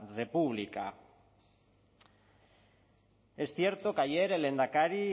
república es cierto que ayer el lehendakari